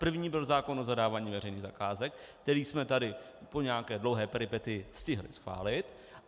První byl zákon o zadávání veřejných zakázek, který jsme tady po nějaké dlouhé peripetii stihli schválit.